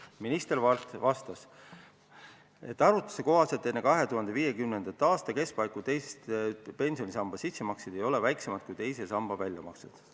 Minister vastas, et arvutuse kohaselt 2050. aastate keskpaiku teise pensionisamba sissemaksed ei ole väiksemad kui teise samba väljamaksed.